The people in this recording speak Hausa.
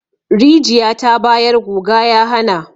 Rijiya ta bayar guga ya hana.